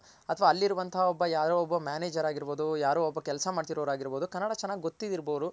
ಅಥವಾ ಅಲ್ಲಿರುವಂತಹ ಒಬ್ಬ ಯಾರೋ ಒಬ್ಬ Manager ಆಗಿರ್ಬೋದು ಯಾರೋ ಒಬ್ಬ ಕೆಲ್ಸ ಮಾಡ್ತಿರೋರ್ ಆಗಿರ್ಬೋದು ಕನ್ನಡ ಚೆನ್ನಾಗ್ ಗೊತ್ತು ಇರ್ಬೋದು